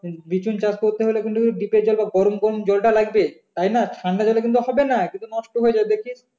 বীজ চাষ করতে হলে কিন্তু . জন্য গরম গরম জলটা লাগবে তাই না ঠান্ডা জলে কিন্তু হবে না কিন্তু নষ্ট হয়ে যাবে দেখিস